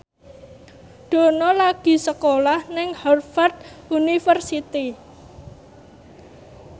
Dono lagi sekolah nang Harvard university